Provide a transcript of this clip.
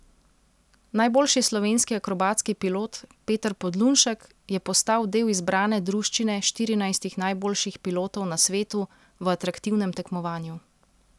Najboljši slovenski akrobatski pilot Peter Podlunšek je postal del izbrane druščine štirinajstih najboljših pilotov na svetu v atraktivnem tekmovanju.